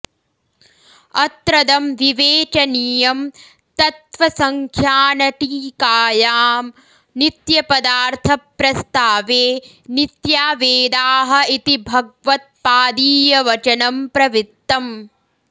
अत्रदं विवेचनीयम् तत्त्वसङ्ख्यानटीकायां नित्यपदार्थप्रस्तावे नित्या वेदाः इति भगवत्पादीयवचनं प्रवृत्तम्